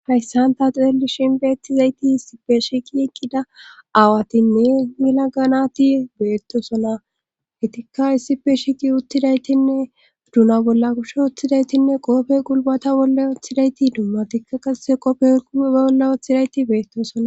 Hayssan ta xeeli shinbeettizayti issipe shiqi iqqida aawatinne mila ganati beettosona etikka issife shiqi uttidaytinne duna bolla kushe uttidaytinne qoofe qulbata bolla oththidayti dummatikka qase qopfe ue olla ooththidayti beettosona.